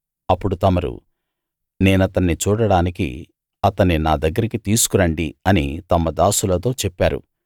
అప్పుడు తమరు నేనతన్ని చూడడానికి అతన్ని నా దగ్గరికి తీసుకు రండి అని తమ దాసులతో చెప్పారు